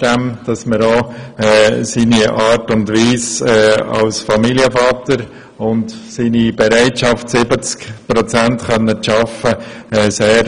Zudem schätzen wir seinen Einsatz als Familienvater und seine Bereitschaft, 70 Prozent zu arbeiten, sehr.